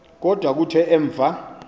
kodwa kuthe emva